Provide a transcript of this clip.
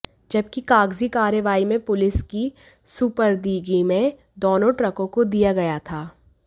जबकि कागजी कार्रवाई में पुलिस की सपुर्दगी में दोनों ट्रकों को दिया गया था